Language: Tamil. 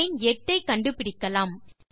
லைன் 8 ஐ கண்டு பிடிக்கலாம்